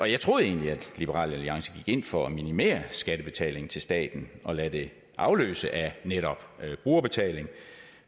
jeg troede egentlig at liberal alliance gik ind for at minimere skattebetalingen til staten og lade det afløse af netop brugerbetaling